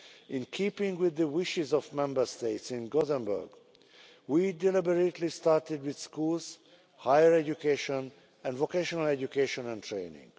In keeping with the wishes of the Member States in Gothenburg, we deliberately started with schools, higher education and vocational education and training.